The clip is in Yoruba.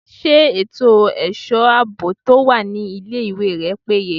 Ṣé ètò ẹ̀ṣọ́ àbò tí ó wà ní ilé ìwé rẹ péye?